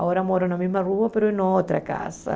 Agora moro na mesma rua, mas em outra casa.